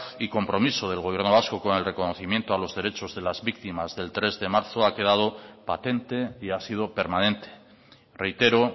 y compromiso del gobierno vasco con el reconocimiento a los derechos de las víctimas del tres de marzo ha quedado patente y ha sido permanente reitero